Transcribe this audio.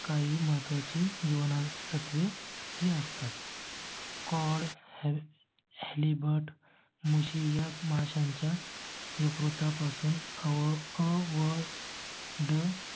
काही महत्त्वाची जीवनसत्वे ही असतात. कॉड Liver मुशी या माशांच्या यकृता पासून अ व.